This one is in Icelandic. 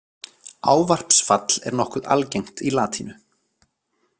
Ávarpsfall er nokkuð algengt í latínu.